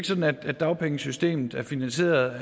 sådan at dagpengesystemet er finansieret